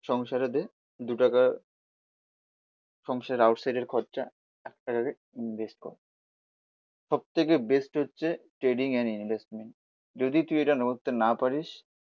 সংসারে দে দুটাকা সংসারের আউট সাইডের খরচা, একটাকা দিয়ে ইনভেস্ট কর। সব থেকে বেস্ট হচ্ছে ট্রেডিং এন্ড ইনভেস্টমেন্ট, যদি তুই এটা করতে না পারিস